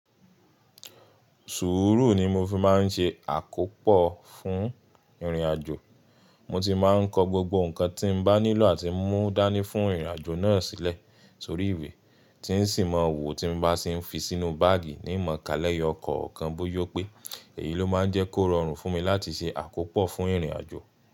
Sùúrù ni mo fi máa ń ṣe àkópò fún ìrìnàjò. Mo ti máa ń kọ gbogbo nǹkan tí mo bá nílò àti mú dání fún ìrìnàjò náà sílẹ̀ sórí ìwé tí sì mọ̀ wù tí mo bá sì ń fi sínú báágì ní ìmọ̀ kalẹ̀ ẹyọ kọ̀ọ̀kan bóyó pé èyí ló máa ń jẹ́ kó rọrùn fún mi láti ṣe àkópò fún ìrìnàjò.